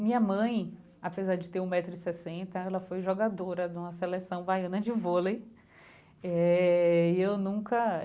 Minha mãe, apesar de ter um metro e sessenta, ela foi jogadora de uma seleção baiana de volei eh e eu nunca.